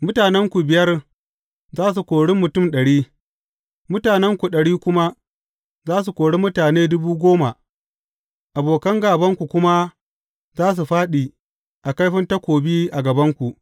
Mutanenku biyar za su kori mutum ɗari, mutanenku ɗari kuma za su kori mutane dubu goma, abokan gābanku kuma za su fāɗi a kaifin takobi a gabanku.